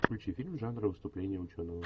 включи фильм жанра выступление ученого